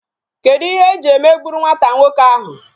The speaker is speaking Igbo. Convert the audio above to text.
Kedu ihe iji emegburu nwata nwoke ahụ?